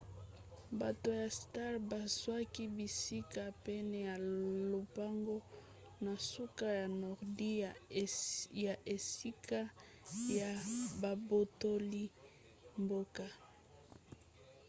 bato ya stark bazwaki bisika pene ya lopango na suka ya nordi ya esika ya babotoli mboka